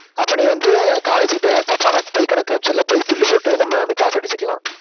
அப்ப நீ வந்து college கிட்ட தப்பான பொய் கணக்கு காமிச்சல்ல பொய் bill போட்டு நம்ம வந்து காசு அடிச்சுக்கலாம்